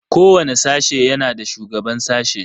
Kowane sashe yana da shugaban sashe.